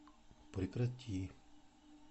прекрати